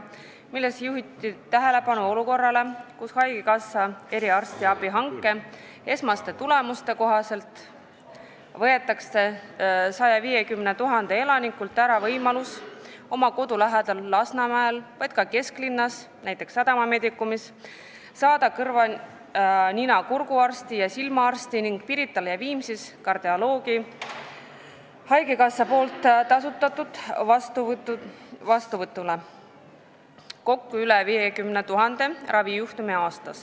Selles juhiti tähelepanu olukorrale, kus haigekassa eriarstiabi hanke esmaste tulemuste kohaselt võetakse 150 000 elanikult ära võimalus oma kodu lähedal Lasnamäel, aga ka näiteks kesklinnas, Sadama Medicumis saada kõrva-nina-kurguarsti ja silmaarsti ning Pirital ja Viimsis kardioloogi vastuvõtule, mida tasustab haigekassa .